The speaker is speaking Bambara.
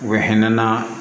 U bɛ hinɛ na